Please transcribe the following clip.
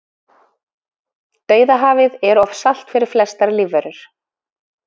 Dauðahafið er of salt fyrir flestar lífverur.